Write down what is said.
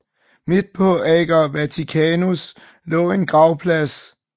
Midt på Ager Vaticanus lå en gravplads